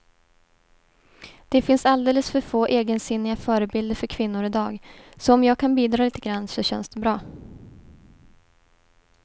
Det finns alldeles för få egensinniga förebilder för kvinnor i dag, så om jag kan bidra lite grann så känns det bra.